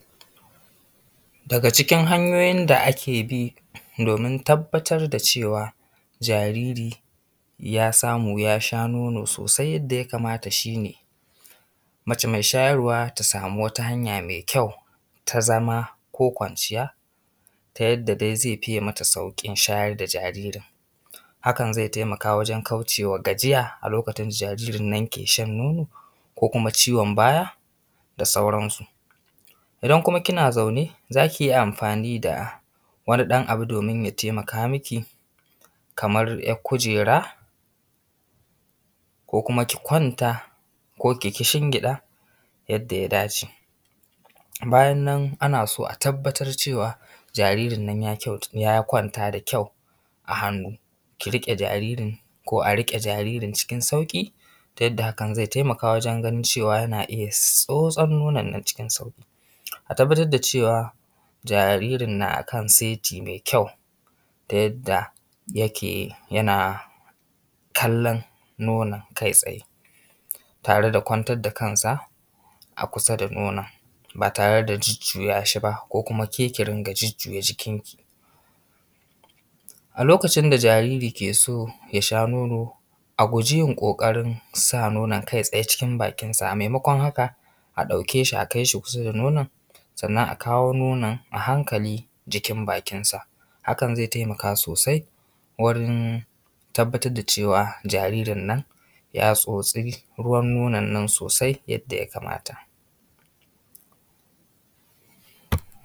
Daga cikin hanyoyin da ake bi domin tabbatar da cewa jariri ya samu ya sha nono sosai yadda ya kamata shi ne, mace mai shayarwa ta samu wata hanya mai kyau ta zama ko kwanciya ta yadda dai zai fiye mata saukin shayarwa da jaririn, hakan zai taimaka wajen kauce wa gajiya a lokacin da jaririn ke shan nono ko kuma ciwon baya da sauran su, idan kuma kina zaune zaki iya amfani da wani ɗan abu domin ya taimaka miki kamar ‘yar kujera ko kuma ki kwanta ko ki kishingiɗa yadda ya dace, bayan nan ana so a tabbatar cewa jaririn ya kwanta da kyau a hannu ki rike jaririn ko a rike jaririn cikin sauki ta yadda haka zai taimaka wajen ganin cewa yana iya tsosan nonan nan cikin sauki, a tabbatar da cewa jaririn yana kan saiti mai kyau ta yadda yake yana kallan nonan kai tsaye tare da kwantar da kansa a kusa da nonan ba tare da jujjuya shi ba ko kuma ke ki ɗinga jujjuya jikin ki, a lokacin da jariri ke so ya sha nono a guje yin ƙoƙarin sa nonan kai tsaye cikin bakinsa a maimaƙwan haka a ɗauke shi a kais hi kusa da nonan sannan a kawo nonan a hankali jikin bakinsa hakan zai taimaka sosai wurin tabbatar da cewa jaririn nan ya tsosi ruwa nonan sosai yadda ya kamata.